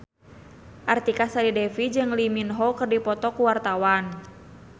Artika Sari Devi jeung Lee Min Ho keur dipoto ku wartawan